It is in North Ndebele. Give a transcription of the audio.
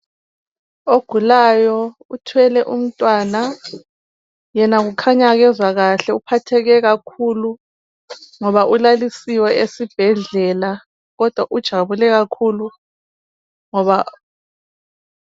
Ogulayo uthwele umntwana yena kukhanya kezwa kahle uphatheke kakhulu ulalisiwe esibhedlela kodwa ujabule kakhulu ngoba,